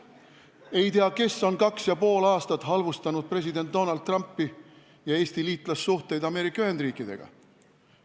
Ei tea, kes on kaks ja pool aastat halvustanud president Donald Trumpi ja Eesti liitlassuhteid Ameerika Ühendriikidega?